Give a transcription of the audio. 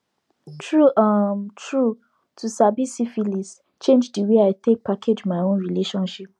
true um true to sabi syphilis change the way i take package my own relationship